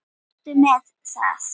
Komdu með það!